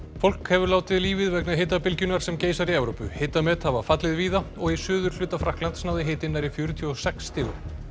fólk hefur látið lífið vegna hitabylgjunnar sem geisar í Evrópu hitamet hafa fallið víða og í suðurhluta Frakklands náði hitinn nærri fjörutíu og sex stigum